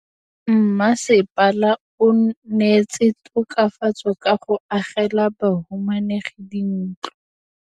Mmasepala o neetse tokafatsô ka go agela bahumanegi dintlo.